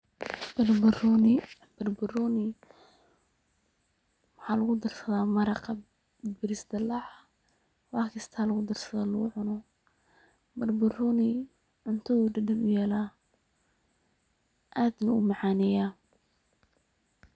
Barbarooni, barbarooni waxaa lagu darsadaa maraqa bariis dallaca ,wax kistaa lagu darsadaa lagu cuno, barbarooni cuntada uu dhadhan u yelaa ,aad buu u macaneyaa.